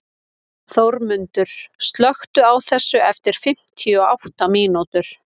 Þórmundur, slökktu á þessu eftir fimmtíu og átta mínútur.